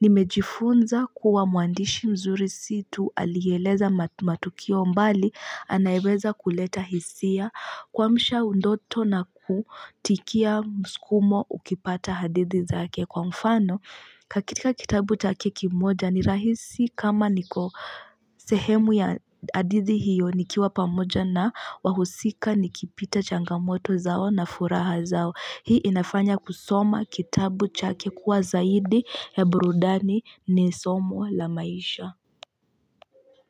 Nimejifunza kuwa mwandishi mzuri situ alieleza matu matu kio mbali anayeweza kuleta hisia. Kwamisha unandoto na kutikia mskumo ukipata hadithi zake kwa mfano. Kakitika kitabu chake kimoja ni rahisi kama niko sehemu ya hadithi hiyo ni kiwa pamoja na wahusika ni kipita changamoto zao na furaha zao. Hii inafanya kusoma kitabu chake kuwa zaidi heburudani ni somo la maisha.